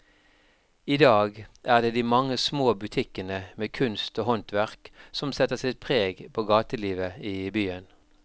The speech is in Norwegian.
I dag er det de mange små butikkene med kunst og håndverk som setter sitt preg på gatelivet i byen.